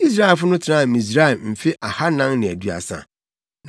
Israelfo no tenaa Misraim mfe ahannan ne aduasa.